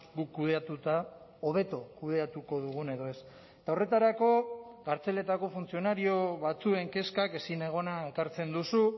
guk kudeatuta hobeto kudeatuko dugun edo ez eta horretarako kartzeletako funtzionario batzuen kezkak ezinegona ekartzen duzu